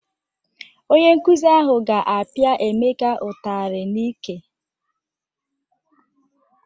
Onye nkụzi ahụ ga-apịa Emeka ụtarị n'íkè.